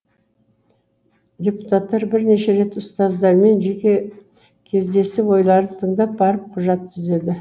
депутаттар бірнеше рет ұстаздармен жеке кездесіп ойларын тыңдап барып құжат түзеді